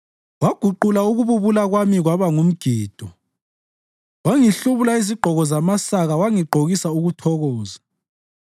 Waguqula ukububula kwami kwaba ngumgido; wangihlubula izigqoko zamasaka wangigqokisa ukuthokoza,